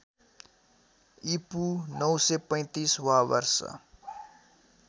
ईपू ९३५ वा वर्ष